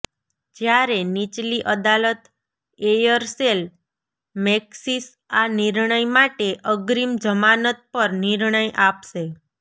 જ્યારે નિચલી અદાલત એયરસેલ મૈક્સિસ આ નિર્ણય માટે અગ્રિમ જમાનત પર નિર્ણય આપશે